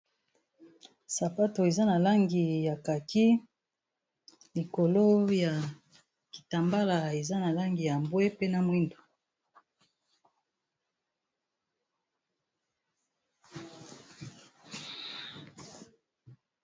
sapato eza na langi ya kaki likolo ya kitambala eza na langi ya mbwe pe na mwindo